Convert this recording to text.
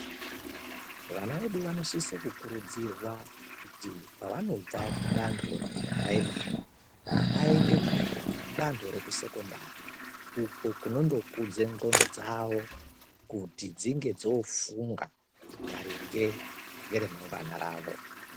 Vana vedu vanosise kukurudzirwa kuti pavanobva kudanto rekupuraimari vaende kudanto rekusekondari uko kunondokudze ndhlqondo dzawo kuti dzinge dzoofunga maringe ngeremangwana ravo.